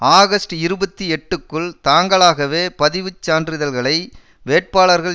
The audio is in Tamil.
ஆகஸ்ட் இருபத்தி எட்டுக்குள் தாங்களாகவே பதிவு சான்றிதழ்களை வேட்பாளர்கள்